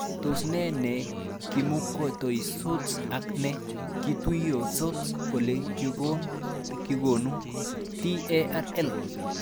Tos nee ne kimukotuisots ak ne kituisots ole kikonu TaRL